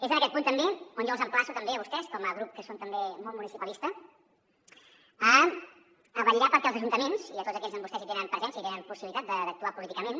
és en aquest punt on jo els emplaço també a vostès com a grup que són també molt municipalista a vetllar perquè els ajuntaments a tots aquells on vostès tenen presència i tenen possibilitat d’actuar políticament